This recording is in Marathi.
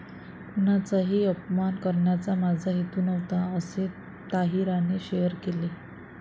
कुणाचाही अपमान करण्याचा माझा हेतू नव्हता, असे ताहिराने शेअर केले आहे.